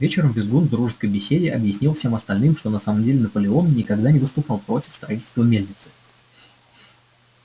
вечером визгун в дружеской беседе объяснил всем остальным что на самом деле наполеон никогда не выступал против строительства мельницы